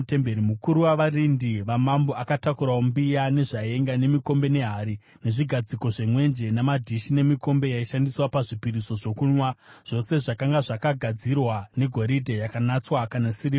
Mukuru wavarindi vamambo akatakurawo mbiya, nezvaenga, nemikombe nehari, nezvigadziko zvemwenje, namadhishi nemikombe yaishandiswa pazvipiriso zvokunwa, zvose zvakanga zvakagadzirwa negoridhe yakanatswa kana sirivha.